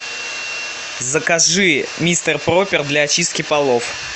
закажи мистер пропер для очистки полов